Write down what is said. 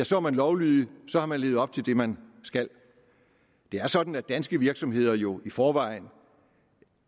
så er man lovlydig og så har man levet op til det man skal det er sådan at danske virksomheder jo i forvejen